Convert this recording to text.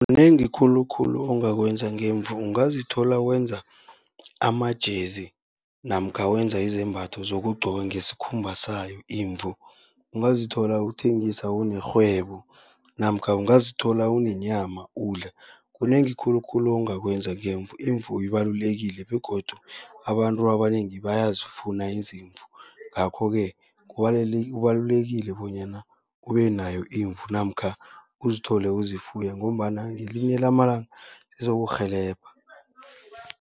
Kunengi khulukhulu ongakwenza ngemvu, ungazithola wenza ama-jersey namkha wenza izembatho zokugcoka ngesikhumba sayo imvu. Ungazithola uthengisa unerhwebo namkha ungazithola unenyama udla. Kunengi khulukhulu ongakwenza ngemvu, imvu ibalulekile begodu abantu abanengi bayazifuna izimvu. Ngakho-ke kubalulekile bonyana ube nayo imvu namkha uzithole uzifuya, ngombana ngelinye lamalanga zizokurhelebha.